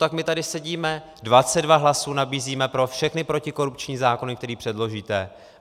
Tak my tady sedíme, 22 hlasů nabízíme pro všechny protikorupční zákony, které předložíte.